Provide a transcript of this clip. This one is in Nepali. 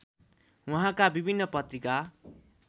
उहाँका विभिन्न पत्रिका